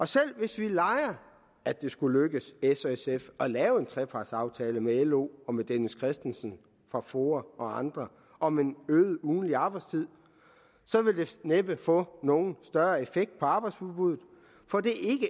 selv hvis vi leger at det skulle lykkes s og sf at lave en trepartsaftale med lo og med dennis kristensen fra foa og andre om en øget ugentlig arbejdstid så vil det næppe få nogen større effekt på arbejdsudbuddet for det